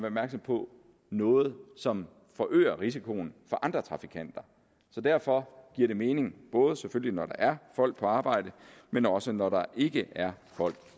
opmærksom på noget som forøger risikoen for andre trafikanter så derfor giver det mening både selvfølgelig når der er folk på arbejde men også når der ikke er folk